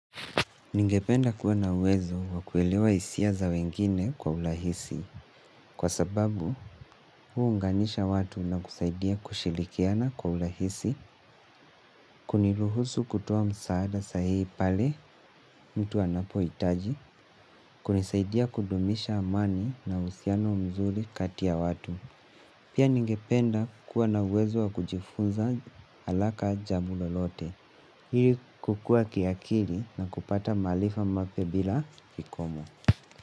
Ningependa kuwa na uwezo wakuelewa hisia za wengine kwa urahisi. Kwa sababu, huu unganisha watu na kusaidia kushirikiana kwa urahisi, kuniruhusu kutoa msaada sahihi pale mtu anapohitaji, kunisaidia kudumisha amani na uhusiano mzuri kati ya watu. Pia ningependa kuwa na uwezo wakujifunza alaka jabu lolote. Ili kukua kiakili na kupata maarifa mapya bila kikomo.